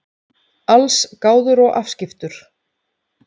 Allsgáður og afskiptur.